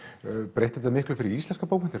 breytti þetta miklu fyrir íslenskar bókmenntir